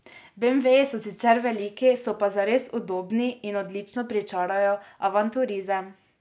Beemveji so sicer veliki, so pa zares udobni in odlično pričarajo avanturizem.